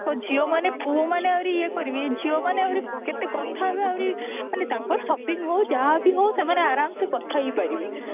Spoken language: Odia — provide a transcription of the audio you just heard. ଆହୁରି କହ ଝିଅମାନେ ପୁଅମାନେ ଆହୁରି ଇଏ କରିବେ ଏଇ ଝିଅମାନେ ଆହୁରି କେତେ କଥା ହେବେ ଆହୁରି ମାନେ ତାଙ୍କର shopping ହୋଉ ଯାହା ବି ହଉ ସେମାନେ ଆରମସେ କଥା ହେଇପାରିବେ